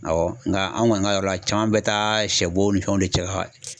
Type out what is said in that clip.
Awɔ nga an kɔni ka yɔrɔ la caman bɛ taa shɛ bo ni fɛnw de cɛka